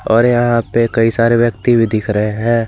और यहां पे कई सारे व्यक्ति भी दिख रहे हैं।